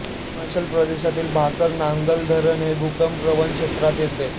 हिमाचल प्रदेशातील भाकरा नांगल धरण हे भूकंपप्रवण क्षेत्रात येते